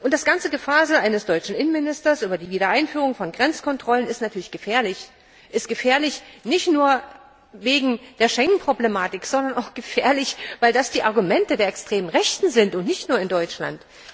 Und das ganze Gefasel eines deutschen Innenministers über die Wiedereinführung von Grenzkontrollen ist natürlich gefährlich, ist gefährlich nicht nur wegen der Schengen Problematik, sondern auch, weil das die Argumente der extremen Rechten sind, nicht nur in Deutschland.